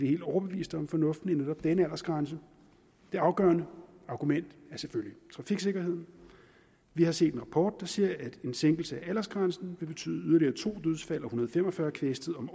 helt overbevist om fornuften i netop denne aldersgrænse det afgørende argument er selvfølgelig trafiksikkerheden vi har set en rapport der siger at en sænkelse af aldersgrænsen vil betyde to dødsfald og fem og fyrre kvæstede